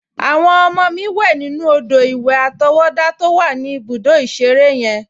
Àwọn ọmọ mi wẹ̀ nínú odò-ìwẹ̀ àtọwọ́dá to wà ní ibùdó ìṣeré yen